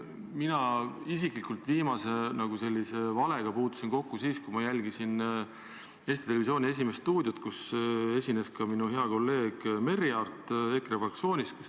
Mina puutusin viimase sellise valega kokku siis, kui ma jälgisin Eesti Televisiooni "Esimest stuudiot", kus esines ka minu hea kolleeg Merry Aart EKRE fraktsioonist.